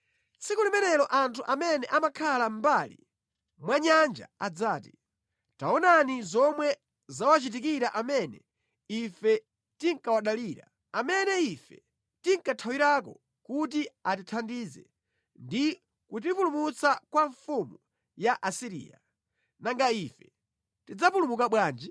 Tsiku limenelo anthu amene amakhala mʼmbali mwa nyanja adzati, ‘Taonani zomwe zawachitikira amene ife tinkawadalira, amene ife tinkathawirako kuti atithandize ndi kutipulumutsa kwa mfumu ya ku Asiriya! Nanga ife tidzapulumuka bwanji?’ ”